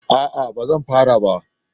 A'a ba zan fara ba